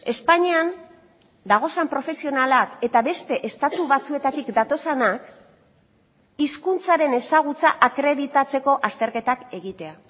espainian dauden profesionalak eta beste estatu batzuetatik datozenak hizkuntzaren ezagutza akreditatzeko azterketak egitea